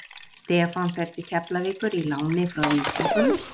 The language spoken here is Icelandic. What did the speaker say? Stefán fer til Keflavíkur í láni frá Víkingum.